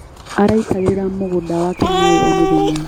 Araitagĩrĩria mũgũnda wake maĩ o mũthenya.